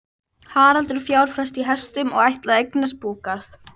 Haraldur fjárfesti í hestum og ætlaði að eignast búgarð.